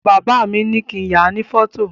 Bàbá mi ní kín yàá ní fọ́tò